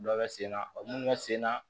Dɔ bɛ sen na o minnu bɛ sen na